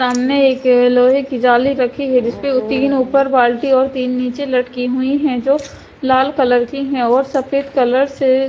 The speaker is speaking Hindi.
सामने एक लोहे की जाली रखी है जिसपे तीन ऊपर बाल्टी और तीन नीचे लटकी हुई है जो लाल कलर की है और सफेद कलर से--